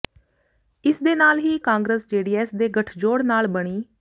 ਇਸ ਦੇ ਨਾਲ ਹੀ ਕਾਂਗਰਸ ਜੇਡੀਐਸ ਦੇ ਗਠਜੋੜ ਨਾਲ ਬਣੀ